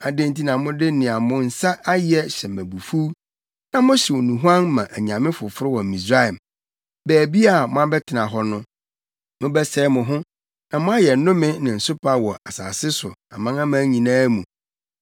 Adɛn nti na mode nea mo nsa ayɛ hyɛ me abufuw, na mohyew nnuhuam ma anyame foforo wɔ Misraim, baabi a moabɛtena hɔ no? Mobɛsɛe mo ho, na moayɛ nnome ne nsopa wɔ asase so amanaman nyinaa mu.